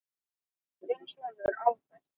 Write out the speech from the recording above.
Þinn sonur, Albert.